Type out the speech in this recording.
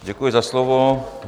Děkuji za slovo.